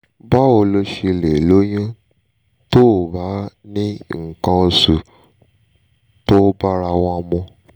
báwo lo ṣe lè lóyún tó o bá ń ni nkan osu ti o barawon mu?